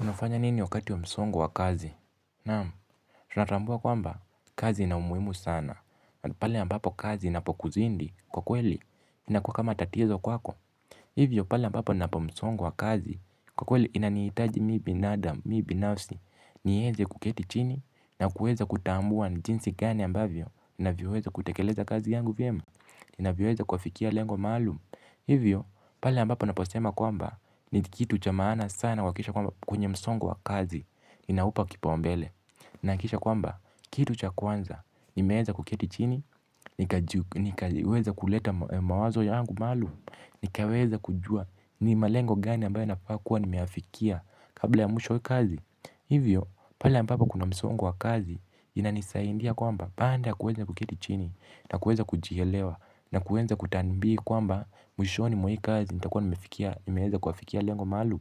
Unafanya nini wakati wa msongo wa kazi? Naam, tunatambua kwamba, kazi ina umuhimu sana. Pale mbapo kazi inapokuzidi kwa kweli, inakuwa kama tatizo kwako. Hivyo, pale mbapo ninapo msongo wa kazi, kwa kweli inanihitaji mi binadamu, mi binasi, niweze kuketi chini, na kueza kutambua ni jinsi gani ambavyo, ninavyoweza kutekeleza kazi yangu vyemu, navyoweza kuafikia lengo maalum hivyo pale ambapo naposema kwamba ni kitu cha maana sana kuhakikisha kwamba kwenye msongo wa kazi ninaupa kipaumbele. Na kisha kwamba, kitu cha kwanza, nimeeza kuketi chini, nikaweza kuleta mawazo yangu malu. Nikaweza kujua ni malengo gani ambayo nafaa kuwa nimeyafikia kabla ya mwisho kazi. Hivyo, pale ambapo kuna msongo wa kazi, inanisaindia kwamba baanda kuweza kuketi chini na kuweza kujielewa na kuweza kutambi kwamba mwishoni mwa hii kazi nitakuwa nimeweza kuafikia lengo maalum.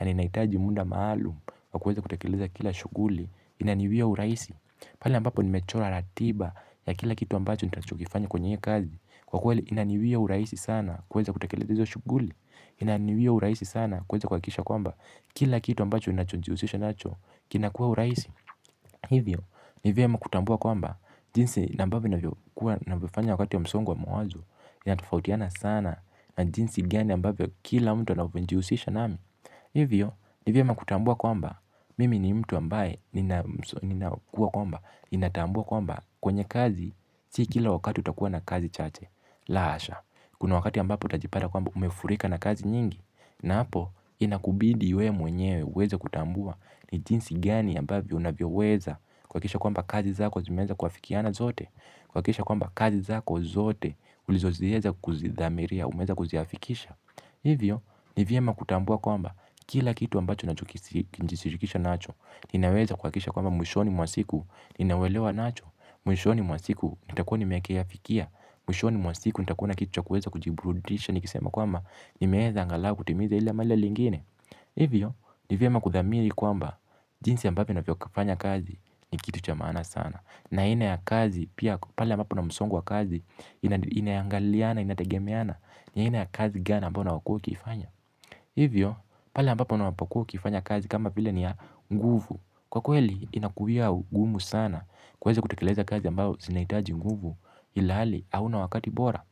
Na ninaitaji munda maalum wa kuweza kutekeleza kila shuguli inaniwia uraisi. Pala ambapo nimechora ratiba ya kila kitu ambacho nita chokifanya kwenye kazi kwa kweli inaniwia uraisi sana kuweza kutekeleza shuguli. Inaniwia uraisi sana kuweza kuhakisha kwamba kila kitu ambacho unachonjiusisha nacho kinakua uraisi. Hivyo, ni vyema kutambua kwamba, jinsi na ambavyo navyofanya wakati ya msongo wa mwazo, yanatofautiana sana na jinsi gani ambavyo kila mtu anavyonjihusisha nami. Hivyo, ni vyema kutambua kwamba, mimi ni mtu ambaye ni na kuwa kwamba, ninatambua kwamba kwenye kazi, si kila wakati utakuwa na kazi chache, la asha. Kuna wakati ambapo utajipata kwamba umefurika na kazi nyingi. Na hapo inakubidi we mwenyewe uweze kutambua ni jinsi gani ambavyo unavyo weza kuhakisha kwamba kazi zako zimeza kuafikiana zote kuhakisha kwamba kazi zako zote ulizozieza kuzidhamiria, umeza kuziafikisha. Hivyo, ni vyema kutambua kwamba kila kitu ambacho nacho kijishirikisha nacho. Ninaweza kuhakisha kwamba mwishoni mwabsiku nina uwelewa nacho. Mwishoni mwabsiku nitakuwa nimeki yafikia. Mwishoni mwasiku nitakuwa na kitu cha kuweza kujiburudisha ni kisema kwama nimeeza angalau kutimiza ili amale lingine. Hivyo ni vyema kuthamiri kwamba jinsi ambavyo nafyo kufanya kazi ni kitu cha maana sana. Na aina ya kazi pia pale ambapo na msongo wa kazi inaiangaliana inategemeana ni aina ya kazi gani ambao unaokuwa ukifanya. Hivyo pale ambapo unapokuwa ukifanya kazi kama bile ni ya nguvu. Kwa kweli inakuwia ugumu sana kuweza kutekeleza kazi ambao zinahitaji nguvu ilhali hauna wakati bora.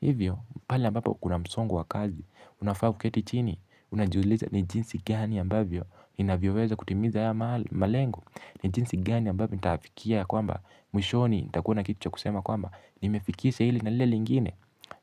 Hivyo pale ambapo kuna msongo wa kazi unafaa uketi chini unajiuliza ni jinsi gani ambavyo ninavyoweza kutimiza haya malengo. Ni jinsi gani ambavyo nitaafikia kwamba mwishoni nitakuwa na kitu cha kusema kwamba nimefikisha ili na lile lingine.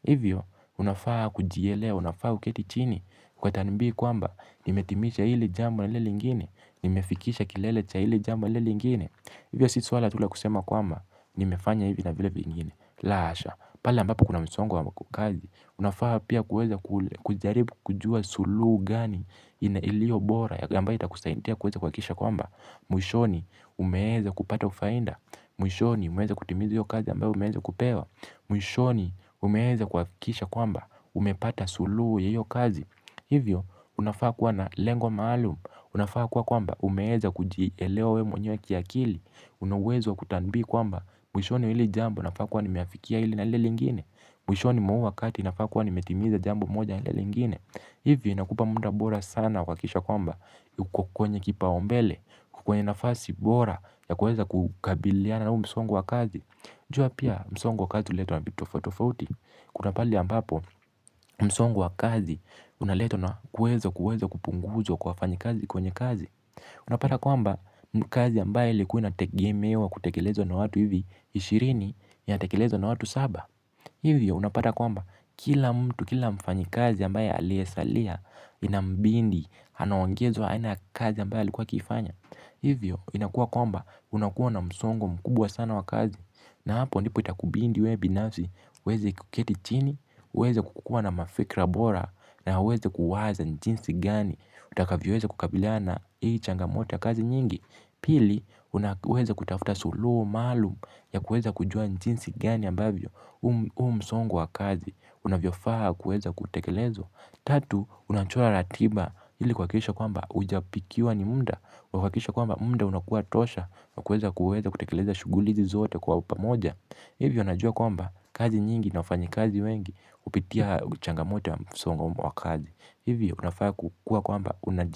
Hivyo unafaa kujielewa unafaa uketi chini kwa tanumbi kwamba nimetimisha ili jambo na lile lingine. Nimefikisha kilele cha ili jambo na ile lingine. Hivyo si suala tu la kusema kwamba nimefanya hivyo na vile vingine. La asha. Pale ambapo kuna msongo wa kazi. Unafaa pia kuweza kujaribu kujua sulu gani ilio bora ambayo itakusaintia kuweza kuhakisha kwamba mwishoni umeeza kupata ufainda. Mwishoni umeeza kutimiza iyo kazi ambayo umeeza kupewa. Mwishoni umeeza kuhakisha kwamba umepata sulu ya io kazi. Hivyo unafaa kuwa na lengo maalum. Unafaa kuwa kwamba umeeza kujielewa we mwenyewe kiakili. Una uwezo wa kutanbi kwamba mwishoni wa ili jambo nafaa kuwa nimeafikia hili na hile lingine. Mwishoni mwa huu wakati nafaa kuwa nimetimiza jambo moja na hile lingine. Hivyo inakupa munda bora sana kuhakisha kwamba uko kwenye kipaumbele kwenye nafasi bora ya kueza kukabiliana na huu msongo wa kazi. Jua pia msongo wa kazi huletwa na vitu tofotofauti. Kuna pali ambapo msongo wa kazi. Unaletwa na kwezo kwezo kupunguzwa kwa wafanyi kazi kwenye kazi. Unapata kwamba mkazi ambaye ilikuwa inategemewa kutekelezwa na watu hivi ishirini inatekelezwa na watu saba. Hivyo unapata kwamba kila mtu kila mfanyi kazi ambaye aliyesalia inambindi anaongezwa aina kazi ambaye likuwa akiifanya. Hivyo inakuwa kwamba unakuwa na msongo mkubwa sana wa kazi. Na hapo ndipo itakubindi we binafzi, uweze kuketi chini, uweze kukukua na mafikra bora, na uweze kuwaza jinsi gani, utakavyoweza kukabiliana hii changamoto ya kazi nyingi. Pili, uweze kutafuta suluo, malum, ya kueza kujua ni jinsi gani ambavyo, huu msongo wa kazi, unavyofaa kueza kutekelezwa. Tatu, unachola ratiba ili kuhakisha kwamba ujapikiwa ni munda kwa kuhakisha kwamba munda unakuwa tosha. Kwa kuweza kutekeleza shuguli izi zote kwa upamoja. Hivyo najua kwamba kazi nyingi na wafanyikazi wengi. Upitia changamoto ya msongo wa kazi. Hivyo unafaa kukuwa kwamba unaji.